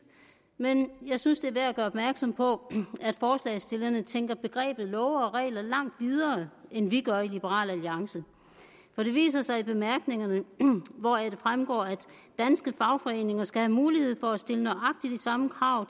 men jeg synes det er værd at gøre opmærksom på at forslagsstillerne tænker begrebet love og regler langt videre end vi gør i liberal alliance det viser sig i bemærkningerne hvoraf det fremgår at danske fagforeninger skal have mulighed for at stille nøjagtig de samme krav